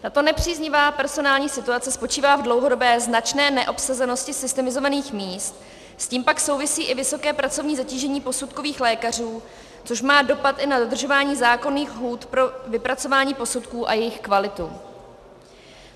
Tato nepříznivá personální situace spočívá v dlouhodobé značné neobsazenosti systemizovaných míst, s tím pak souvisí i vysoké pracovní zatížení posudkových lékařů, což má dopad i na dodržování zákonných lhůt pro vypracování posudků a jejich kvalitu.